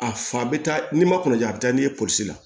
A fa bɛ taa ni ma kunja a bɛ taa n'i ye polisi la